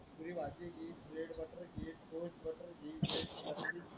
bread butter घे toast butter घे